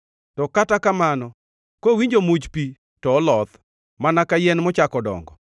to kata kamano, kowinjo much pi, to oloth, mana ka yien mochako dongo.